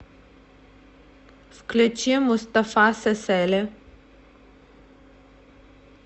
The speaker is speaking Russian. включи мустафа сесели